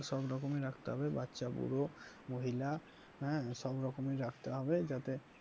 সব রকমেরই রাখতে হবে বাচ্চা বুড়ো মহিলা হ্যাঁ সব রকমেরই রাখতে হবে যাতে